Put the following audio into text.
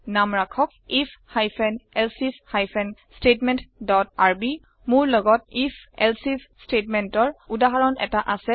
নাম ৰাখক if hyphen else if hyphen statement dot r b মোৰ লগত if elseif statementৰ উদাহৰণ এটা আছে